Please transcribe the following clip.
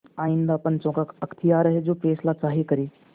आइंदा पंचों का अख्तियार है जो फैसला चाहें करें